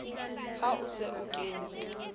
ha o se o kene